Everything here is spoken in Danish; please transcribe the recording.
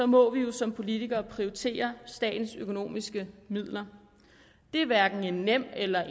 må vi jo som politikere prioritere statens økonomiske midler det er hverken en nem eller